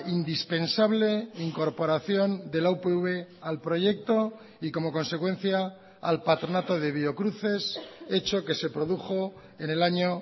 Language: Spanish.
indispensable incorporación de la upv al proyecto y como consecuencia al patronato de biocruces hecho que se produjo en el año